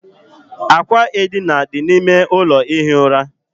Àkwà edina dị n'ime ụlọ ihi ura.